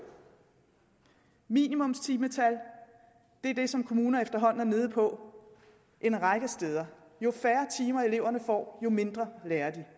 minimumstimetal er det som kommuner efterhånden er nede på en række steder jo færre timer eleverne får jo mindre lærer de